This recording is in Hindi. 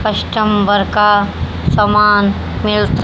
कस्टमर का सामान मिलता--